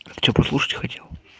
а что прослушать хотел